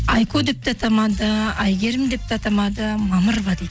айко деп те атамады әйгерім деп те атамады мамырова дейтін